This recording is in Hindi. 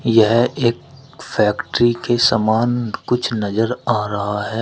यह एक फैक्ट्री के समान कुछ नजर आ रहा है।